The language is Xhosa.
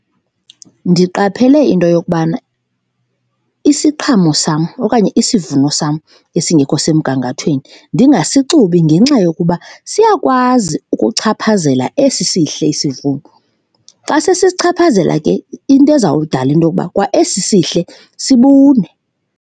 Ndiqaphele into yokubana isiqhamo sam okanye isivuno sam esingekho semgangathweni ndingasixubi ngenxa yokuba siyakwazi ukuchaphazela esi sihle isivuno, xa sisichaphazela ke into izawudala into yokuba kwa esi sihle sibune.